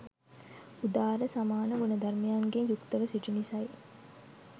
උදාර සමාන ගුණධර්මයන්ගෙන් යුක්තව සිටි නිසයි.